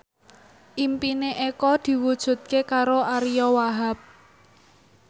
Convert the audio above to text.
impine Eko diwujudke karo Ariyo Wahab